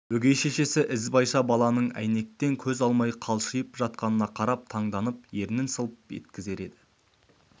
өгей шешесі ізбайша баланың әйнектен көз алмай қалшиып жатқанына қарап таңданып ернін сылп еткізер еді